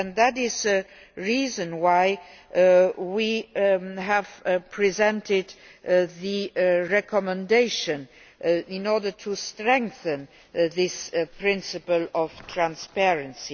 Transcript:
That is the reason why we have presented the recommendation in order to strengthen this principle of transparency.